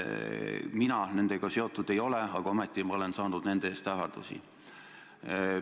Mina nendega seotud ei ole, aga ometi ma olen saanud nende tõttu ähvardusi.